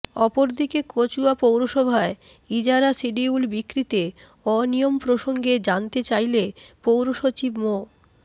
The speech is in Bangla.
অপরদিকে কচুয়া পৌরসভায় ইজারা সিডিউল বিক্রিতে অনিয়ম প্রসঙ্গে জানতে চাইলে পৌর সচিব মো